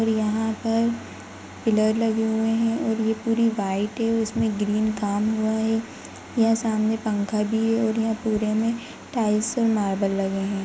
और यहां पर पिलर लगे हुए है और ये पूरी व्हाइट है उसमे ग्रीन काम हुआ है यह सामने पंखा भी है और यहां पूरे मे टाइल्स और मार्बल लगे है।